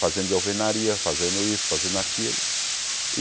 Fazendo de alvenaria, fazendo isso, fazendo aquilo.